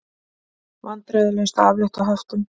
Vandræðalaust að aflétta höftum